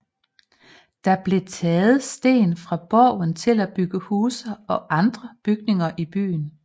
Der blev taget sten fra borgen til at bygge huse og andre bygninger i byen